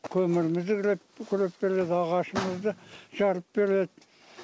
көмірімізді күреп күреп береді ағашымызды жарып береді